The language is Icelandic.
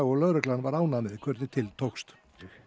og lögreglan ánægð með hvernig til tókst